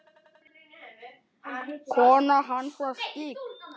Maul eftir messu.